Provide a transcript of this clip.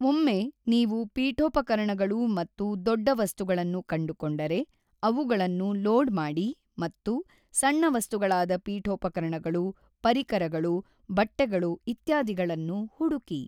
ಒಮ್ಮೆ ನೀವು ಪೀಠೋಪಕರಣಗಳು ಮತ್ತು ದೊಡ್ಡ ವಸ್ತುಗಳನ್ನು ಕಂಡುಕೊಂಡರೆ, ಅವುಗಳನ್ನು ಲೋಡ್ ಮಾಡಿ ಮತ್ತು ಸಣ್ಣ ವಸ್ತುಗಳಾದ ಪೀಠೋಪಕರಣಗಳು, ಪರಿಕರಗಳು, ಬಟ್ಟೆಗಳು ಇತ್ಯಾದಿಗಳನ್ನು ಹುಡುಕಿ.